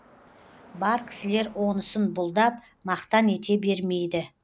бар кісілер онысын бұлдап мақтан ете бермейді